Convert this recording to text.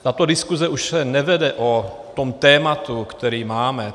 Tato diskuze už se nevede o tom tématu, které máme.